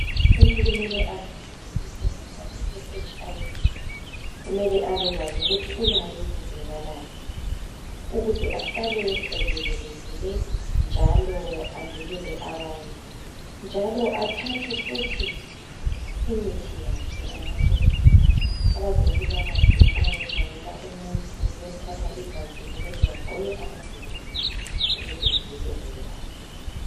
Umuntu kumele azazi isimo sakhe seHIV. Kumele abekwazi ukuthi ulayo kumbe kalayo ukuze azivikele kanye labanye njalo athathe imithi yakhe anathe kuhle. Abezempilakahle nxa bethatha umuntu igazi kumele bagqoke amagilovisi ukuze bavikeleke labo.